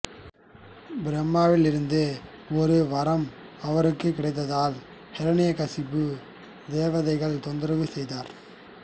பிரம்மாவிலிருந்து ஒரு வரம் அவருக்கு கிடைத்ததால் ஹிரண்யகிசுப்பு தேவதைகள் தொந்தரவுசெய்தார்